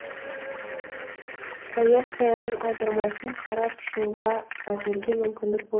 баевскаяның аудармасын қарап шығуға әзірге мүмкіндік болмады